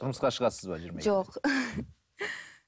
тұрмысқа шығасыз ба жиырма екіде жоқ